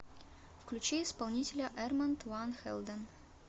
включи исполнителя эрманд ван хэлден